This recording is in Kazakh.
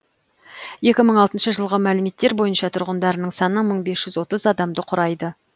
екі мың алтыншы жылғы мәліметтер бойынша тұрғындарының саны мың бес жүз отыз адамды құрайды